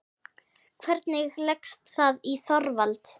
Hvernig leggst það í Þorvald?